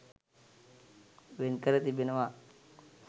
වෙන්කර තිබෙනවා.